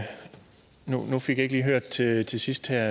ikke lige hørt til til sidst her